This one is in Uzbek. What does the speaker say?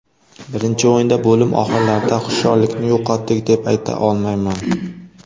Birinchi o‘yinda bo‘lim oxirlarida hushyorlikni yo‘qotdik deb ayta olmayman.